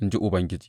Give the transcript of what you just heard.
in ji Ubangiji.